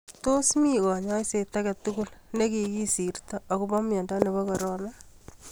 Tos mi kanyoiset ake tugul nekikisirto akobo mnyendo nebo korona